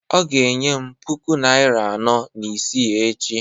ọ ga-enye m puku naịra anọ na isii echi